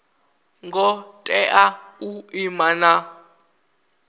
ngo tea u ima na